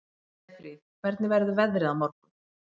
Snæfríð, hvernig verður veðrið á morgun?